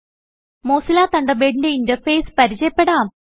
Mozilla തണ്ടർബേഡിന്റെ interface പരിചയപ്പെടാം